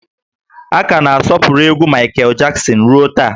A ka na-asọpụrụ egwú Maịkel Jaksin ruo taa